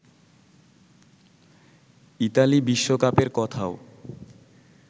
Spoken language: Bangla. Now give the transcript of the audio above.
ইতালি বিশ্বকাপের কথাও